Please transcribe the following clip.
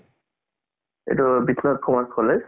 এইটো commerce college